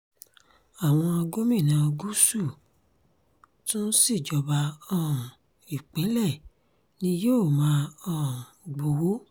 àwọn gómìnà gúúsù tún si ìjọba um ìpínlẹ̀ ni yóò máa um gbowó